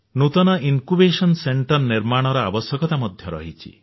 ନୂତନ ଜ୍ଞାନାଙ୍କୁର କେନ୍ଦ୍ର ନିର୍ମାଣର ଆବଶ୍ୟକତା ମଧ୍ୟ ରହିଛି